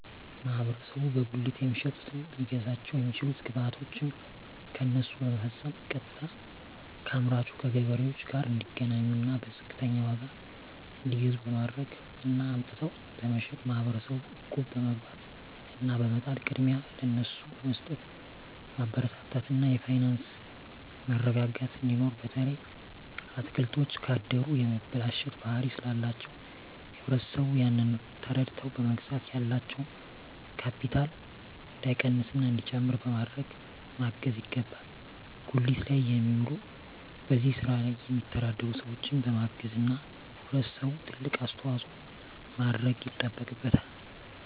ማህበረሰቡ በጉሊት የሚሸጡትን ሊያግዛቸዉ የሚችለዉ ግብይቶችን ከነሱ በመፈፀም ቀጥታከአምራቹ ከገበሬዎቹ ጋር እንዲገናኙና በዝቅተኛ ዋጋ እንዲገዙ በማድረግ እና አምጥተዉ በመሸጥ ማህበረሰቡ እቁብ በመግባት እና በመጣል ቅድሚያ ለነሱ በመስጠትማበረታታት እና የፋይናንስ መረጋጋት እንዲኖር በተለይ አትክልቶች ካደሩ የመበላሸት ባህሪ ስላላቸዉ ህብረተሰቡ ያንን ተረድተዉ በመግዛት ያላቸዉ ካቢታል እንዳይቀንስና እንዲጨምር በማድረግ ማገዝ ይገባል ጉሊት ላይ የሚዉሉ በዚህ ስራ የሚተዳደሩ ሰዎችን በማገዝና ህብረተሰቡ ትልቅ አስተዋፅኦ ማድረግ ይጠበቅበታል